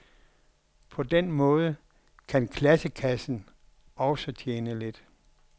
På den måde kan klassekassen også tjene lidt.